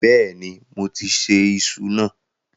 Bẹ́ẹ̀ni, moti ṣe iṣu náà.